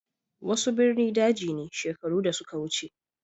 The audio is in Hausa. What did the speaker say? Wasu ɓirni ɗaji ne sheƙaru da suka wuce.